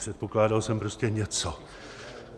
Předpokládal jsem prostě něco.